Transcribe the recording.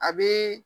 A bɛ